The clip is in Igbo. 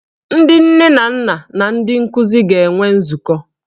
Ndị nne na nna na ndị nkuzi ga-enwe nzukọ